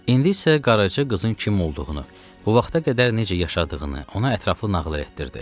İndi isə Qaraca qızın kim olduğunu, bu vaxta qədər necə yaşadığını ona ətraflı nağıl etdirdi.